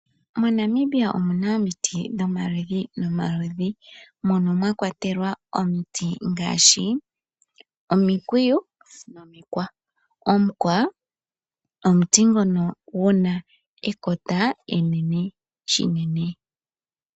MoNamibia omuna omiti dhomaludhi nomaludhi mono mwa kwatelwa omiti ngaashi omikwiyu, nomikwa. Omukwa omuti ngono guna ekota enene shinene.